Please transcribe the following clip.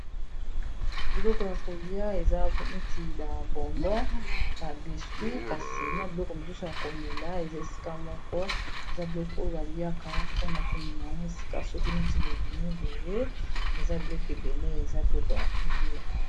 Biloko ya kolia eza neti ba bonbon ba biscuit kasi na biloko mosusu ya komela eza esika moko eza biloko oyo baliaka mpona komema esika soki neti bobimi boye eza biloko ebele eza biloko ya kolia.